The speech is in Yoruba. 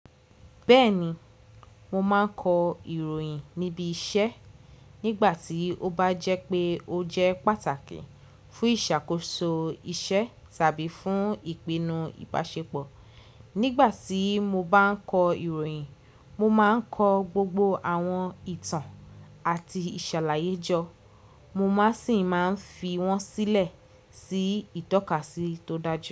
Bẹ́ẹ̀ni, mo máa ń kọ ìròyìn níbi iṣẹ́ nígbà tí ó bá jẹ́ pé ó jẹ́ pàtàkì fún ìṣàkóso iṣẹ́ tàbí fún ìpinnu ìbáṣepọ̀. Nígbà tí mo bá ń kọ ìròyìn, mo máa ń kọ gbogbo àwọn ìtàn àti ìṣàlàyé jọ. Mo má sì ń máa ń fi wọ́n sílẹ̀ sí ìtọ́kasí tó dájú.